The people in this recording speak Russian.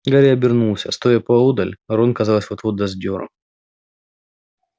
гарри обернулся стоя поодаль рон казалось вот-вот даст дёру